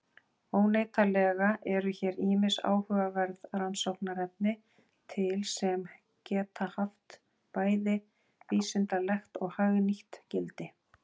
Óneitanlega eru hér ýmis áhugaverð rannsóknarefni til sem geta haft bæði vísindalegt og hagnýtt gildi.